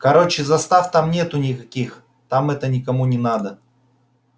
короче застав там нету никаких там это никому не надо